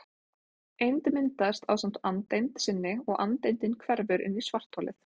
Eind myndast ásamt andeind sinni og andeindin hverfur inn í svartholið.